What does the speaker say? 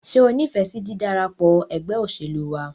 Ṣé o nífẹsí dídarapọ̀ ẹgbẹ́ òṣèlú wa?